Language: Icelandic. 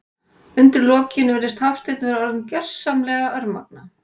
Undir lokin virðist Hafsteinn vera orðinn gersamlega örmagna.